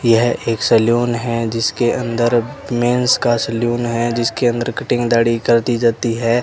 यह एक सैलून है जिसके अंदर मैन्स का सैलून है जिसके अंदर कटिंग दाढ़ी कर दी जाती है।